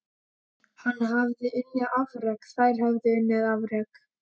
Hann hafði unnið afrek þeir höfðu unnið afrek.